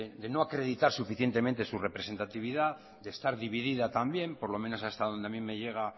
de no acreditar suficientemente su representatividad de estar dividida también por lo menos hasta donde a mi me llega